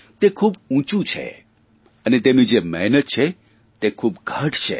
તે ખૂબ ઉંચું છે અને તેમની જે મહેનત છે તે ખૂબ ગાઢ છે